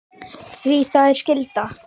Því það er skylda okkar feðra.